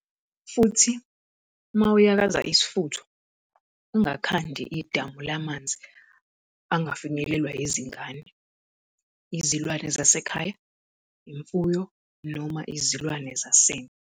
Futhi, uma uyakaza isifutho, ungakhandi idamu lamanzi angafinyelelwa yizingane, izilwane zasekhaya, imfuyo noma izilwane zasendle.